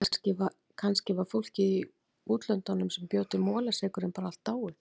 Kannski var fólkið í útlöndunum sem bjó til molasykurinn bara allt dáið.